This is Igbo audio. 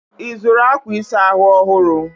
Ị zụrụ akwa ịsa ahụ ọhụrụ?